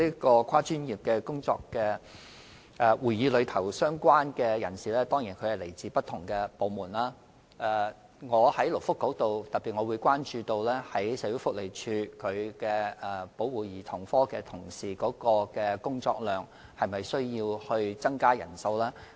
多專業個案會議的成員當然是來自不同部門，而我身為勞工及福利局局長亦會特別關注社署保護家庭及兒童科的同事的工作量，以考慮是否有需要增加人手。